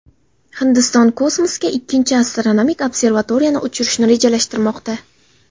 Hindiston kosmosga ikkinchi astronomik observatoriyani uchirishni rejalashtirmoqda.